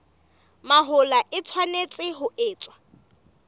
mahola e tshwanetse ho etswa